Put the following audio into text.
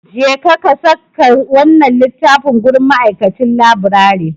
Jeka saka wannan littafin gurin ma'aikacin laburare.